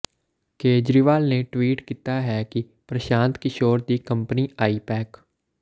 ਕੇਜਰੀਵਾਲ ਨੇ ਟਵੀਟ ਕੀਤਾ ਹੈ ਕਿ ਪ੍ਰਸ਼ਾਂਤ ਕਿਸ਼ੋਰ ਦੀ ਕੰਪਨੀ ਆਈ ਪੈਕ